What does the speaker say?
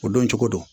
O don cogo don